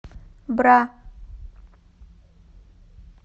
бра